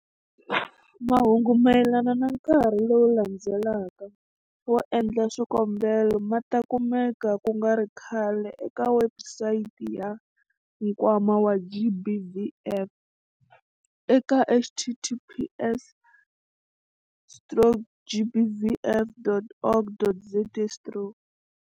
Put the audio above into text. Mahungu mayelana na nkarhi lowu landzelaka wo endla swikombelo ma ta kumeka ku nga ri khale eka webusayiti ya Nkwama wa GBVF eka- https stroke gbvf.org.za stroke.